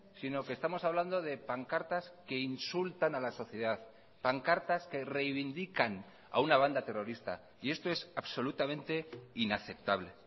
sino que estamos hablando de pancartas que insultan a la sociedad pancartas que reivindican a una banda terrorista y esto es absolutamente inaceptable